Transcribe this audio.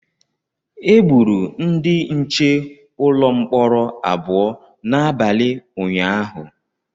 Egburu ndị nche ụlọ mkpọrọ abụọ n’abalị ụnyahụ